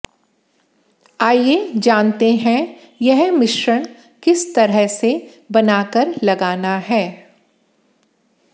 आइये जानते हैं यह मिश्रण किस तरह से बना कर लगाना है